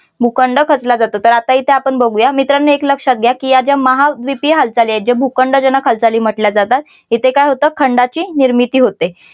भूखंड खचला जातो तर आत्ता येथे आपण बघूया मित्रांनो एक लक्षात घ्या की या ज्या महाद्वीपीय हालचाली आहेत जे भूखंड जनक हालचाली म्हटल्या जातात इथे काय होतं खंडाची निर्मिती होते.